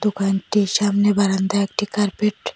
দোকানটির সামনে বারান্দায় একটি কার্পেট --